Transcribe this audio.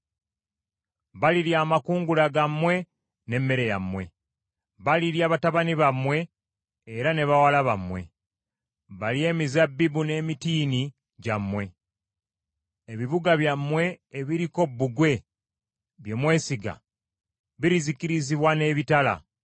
Balirya amakungula gammwe n’emmere yammwe; balirya batabani bammwe era ne bawala bammwe; balye emizabbibu n’emitiini gyammwe, ebibuga byammwe ebiriko bbugwe bye mwesiga birizikirizibwa n’ebitala.